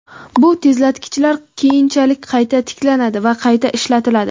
Bu tezlatkichlar keyinchalik qayta tiklanadi va qayta ishlatiladi.